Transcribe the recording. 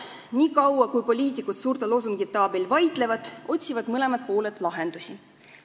Niikaua, kui poliitikud suurte loosungite abil vaidlevad, otsivad mõlemad pooled lahendusi.